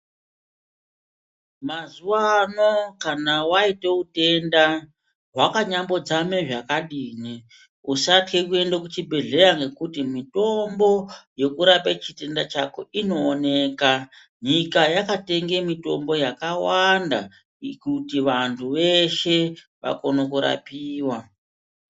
Mazuwa ano, kana waite utenda hwakanyambo dzame zvakadini, usathye kuende kuchibhedhleya ngekuti mitombo yekurape chitenda chako inooneka. Nyika yaka tenge mitombo yakawanda, kuti vantu veshe vakone kurapiwa.